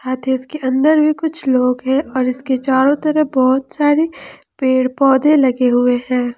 के अंदर भी कुछ लोग हैं और इसके चारों तरफ बहुत सारे पेड़ पौधे लगे हुए हैं।